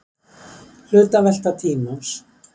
Hlutavelta tímans.